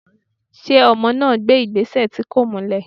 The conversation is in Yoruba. ṣe ọmọ na gbé igbesẹ tí kọ̀ múlè?